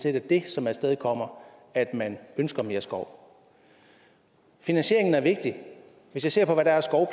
er det som afstedkommer at man ønsker mere skov finansieringen er vigtig hvis jeg ser på hvad der er